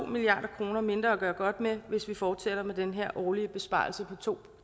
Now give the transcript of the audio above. milliard kroner mindre at gøre godt med hvis vi fortsætter med den her årlige besparelse på to